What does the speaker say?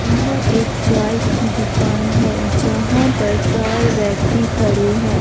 यह एक चाय की दुकान है जहां पर चार व्यक्ति खड़े है।